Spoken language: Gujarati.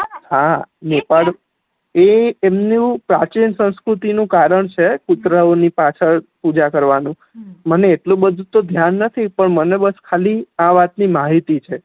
હા નેપાળ એ કે એ એમનું પ્રાચીન સંસ્કૃતિ નું કારણ છે કુતરાઓ ની પાછળ પૂજા કરવા નું મને એટલું બધું તો ધ્યાન નથી પણ મને ખાલી આ વાત ની માહિતી છે